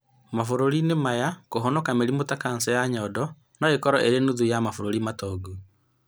Mabũrũrinĩ maya, kũhonoka mĩrimu ta kansa ya nyondo no ĩkorwo ĩrĩ nuthu ya mabũrũri matongu